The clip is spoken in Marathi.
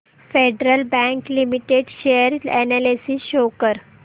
federal Bank Limited share analysis show कर